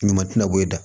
Ɲuman tɛna bɔ e da